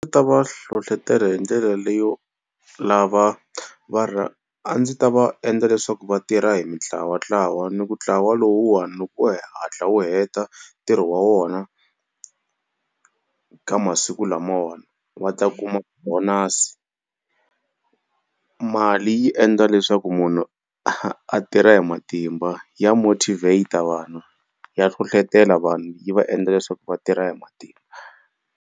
Ndzi ta va hlohlotela hi ndlela leyo lava va a ndzi ta va endla leswaku vatirha hi mitlawatlawa ni ku ntlawa lowuwani loko o hatla u heta ntirho wa wona ka masiku lamawani va ta kuma bonasi, mali yi endla leswaku munhu a tirha hi matimba ya motivate vanhu ya hlohlotela vanhu yi va endla leswaku va tirha hi matimba.